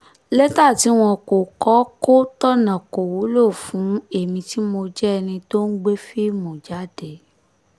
lẹ́tà tí wọn kò kọ kò tọ̀nà kò wúlò fún èmi tí mo jẹ́ ẹni tó ń gbé fíìmù jáde